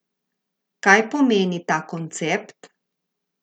Kaj pomeni ta koncept?